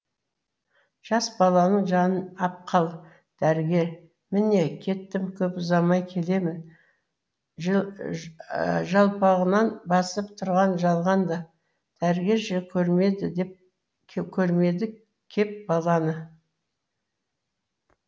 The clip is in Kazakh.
жас баланың жанын ап қал дәрігер міне кеттім көп ұзамай келемін жалпағынан басып тұрған жалғанды дәрігер ше көрмеді кеп баланы